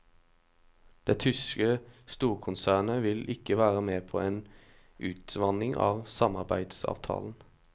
Det tyske storkonsernet ville ikke være med på en utvanning av samarbeidsavtalen.